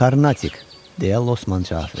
Karnatik, deyə Losman cavab verdi.